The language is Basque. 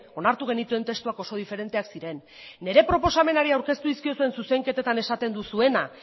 onartu genituen testuak oso diferenteak ziren nire proposamenari aurkeztu dizkiozuen zuzenketetan esaten duzuena